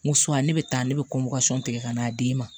ne bɛ taa ne bɛ tigɛ ka n'a d'e ma